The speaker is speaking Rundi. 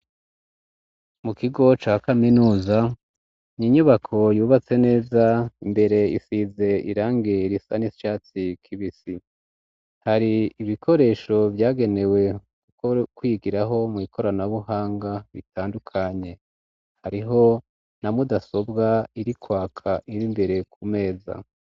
mu kigo ca kaminuza n'inyubako yubatse neza imbere isize irangi risa n'ishatsi kibisi hari ibikoresho byagenewe kuko kwigiraho mu ikoranabuhanga bitandukanye hariho na mudasobwa irikwaka ibi mbere ku meza